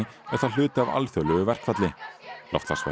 er það hluti af alþjóðlegu verkfalli